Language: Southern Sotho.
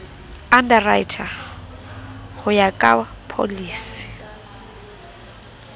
underwriter ho ya ka pholisi